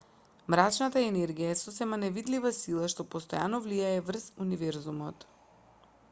мрачната енергија е сосема невидлива сила што постојано влијае врз универзумот